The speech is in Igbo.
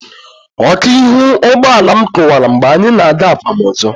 Ọkụ ihu ụgbọala m kụwara mgbe anyị na-aga akwamozu.